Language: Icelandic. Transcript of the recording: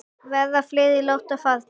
Verða fleiri látnir fara?